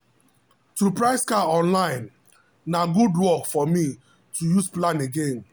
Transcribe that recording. to price car online na good work for me to use plan again